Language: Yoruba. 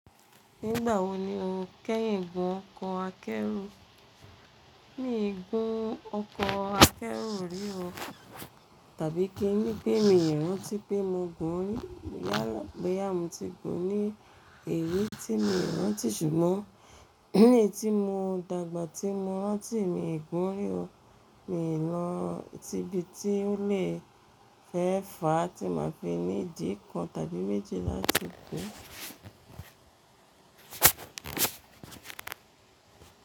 Nígbà wo ni o kẹ́yìn gùn ọkọ̀ akẹ́rù? Mí ì gún ọkọ̀ akẹ́rù rí o. Tàbí kí n ní pé mi ò rántí pé mo gùn rí. Yálà boyá mo ti gùn ní èyí tí mo rántí ṣùgbọ́n ní eyiti mo dàgbà tí mo rántí mi i gùn rí o. Mi lọ ti ibi tí ó lè fẹ́ fà á tí màá fi ni dí kan tàbí méjì láti gùn.